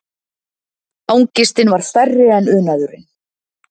Angistin var stærri en unaðurinn.